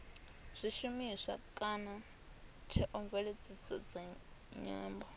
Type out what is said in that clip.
zwishumiswa kana theomveledziso dza nyambo